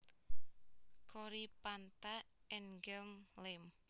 Coryphantha Engelm Lem